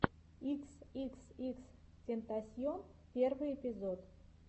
икс икс икс тентасьон первый эпизод